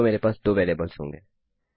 तो मेरे पास दो वेरिएबल्स होंगे